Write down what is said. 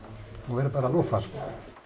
verður bara að lúffa sko